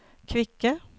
kvikke